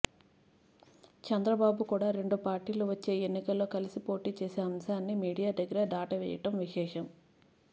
చంద్రబాబు కూడా రెండు పార్టీలు వచ్చే ఎన్నికల్లో కలసి పోటీ చేసే అంశాన్ని మీడియా దగ్గర దాటవేయడం విశేషం